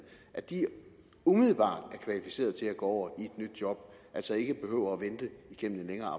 umiddelbart er kvalificeret til at gå i et nyt job og altså ikke behøver at vente igennem en længere